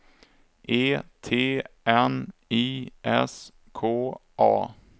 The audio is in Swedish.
E T N I S K A